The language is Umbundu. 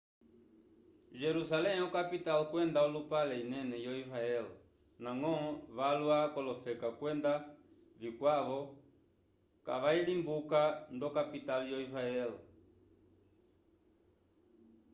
jerusalem okapital kwenda olupale inene yo-israel ndañgo valwa k'olofeka kwenda vikwavo kavayilimbuka ndo-kapital yo-israel